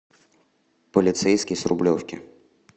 полицейский с рублевки